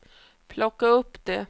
plocka upp det